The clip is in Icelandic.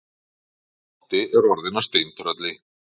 Doddi er orðinn að steintrölli.